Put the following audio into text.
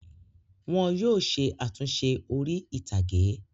Wọn yóò ṣe àtúnṣe orí-ìtàgé.